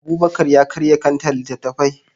Abubakar ya karya kantar littattafai.